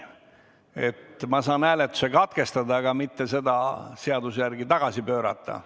Ma saan seaduse järgi hääletuse katkestada, aga mitte seda tagasi pöörata.